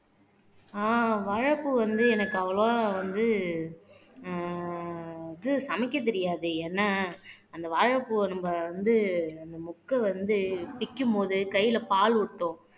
ஆஹ் வாழைப்பூ வந்து எனக்கு அவ்வளவா வந்து ஆஹ் இது சமைக்கத் தெரியாது ஏன்னா அந்த வாழைப்பூவ நம்ம வந்து அந்த மொக்க வந்து பிக்கும் போது கையில பால் ஓட்டும்